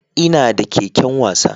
Ina da keken wasa